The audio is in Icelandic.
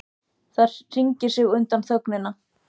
Það hringar sig utan um þögnina.